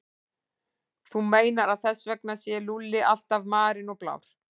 Þú meinar að þess vegna sé Lúlli alltaf marinn og blár?